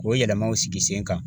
Ko yɛlɛmaw sigi sen kan .